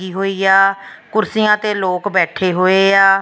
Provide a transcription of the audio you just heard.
ਲੱਗੀ ਹੋਈ ਆ ਕੁਰਸੀਆਂ ਤੇ ਲੋਕ ਬੈਠੇ ਹੋਏ ਆ --